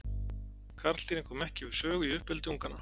Karldýrin koma ekki við sögu í uppeldi unganna.